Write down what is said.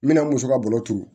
N bɛna muso ka balo turu